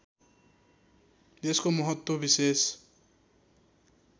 यसको महत्त्व विशेष